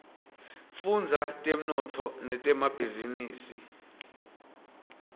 fudza temnotfo netemabhizinisa